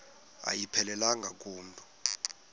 ayiphelelanga ku mntu